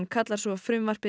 kallar frumvarpið